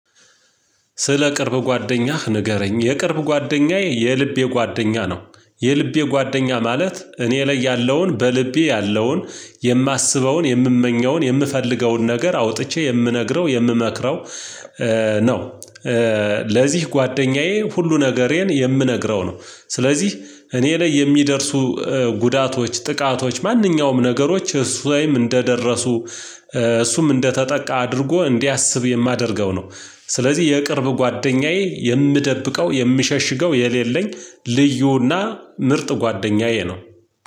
ስለ ቅርብ ጓደኛህ ንገረኝ የቅርብ ጓደኛዬ የልቤ ጓደኛ ነው የልቤ ጓደኛ ማለት እኔ ላይ ያለውን በልቤ ያለውን የማስበውን የምመኘውን የምፈልገውን ነገር አውጥቼ የምነግረው የምመክረው ነው። ለዚህ ጓደኛዬ ሁሉ ነገሬን የምነግረው ነው። ስለዚህ እኔ ላይ የሚደርሱ ጉዳቶች ጥቃቶች ማንኛውም ነገሮች እሱ ላይም እንደደረሱ እሱም እንደተጠቃ አድርጎ እንዲያስብ የማደርገው ነው። ስለዚህ የቅርብ ጓደኛዬ የምደብቀው የምሸሽገው የሌለኝ ልዩና ምርጥ ጓደኛዬ ነው።